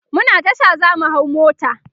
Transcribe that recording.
muna Tasha zamu hau mota